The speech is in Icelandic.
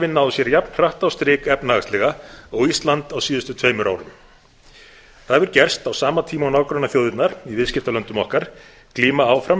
hafi náð sér jafn hratt á strik efnahagslega og ísland á síðustu tveimur árum það hefur gerst á sama tíma og nágrannaþjóðirnar í viðskiptalöndum okkur glíma áfram